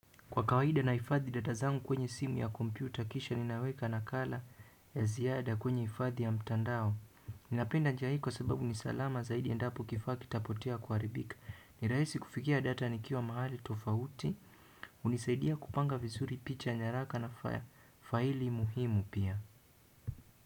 Kwa kawaida nahifadhi data zangu kwenye simu ya kompyuta, kisha ninaweka nakala ya ziada kwenye hifadhi ya mtandao. Ninapenda njia hii kwa sababu ni salama zaidi endapo kifaa kitapotea au kuharibika. Ni rahisi kufikia data nikiwa mahali tofauti hunisaidia kupanga vizuri picha nyaraka na faili muhimu pia.